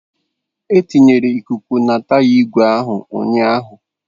E tinyere ikuku na taya igwe ahụ ụnyahụ